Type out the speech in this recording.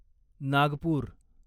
Nagpur